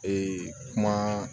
Ee kuma